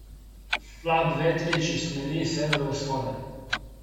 Slab vetrič iz smeri severovzhoda.